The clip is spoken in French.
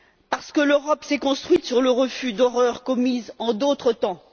Parce que l'Europe s'est construite sur le refus d'horreurs commises en d'autres temps.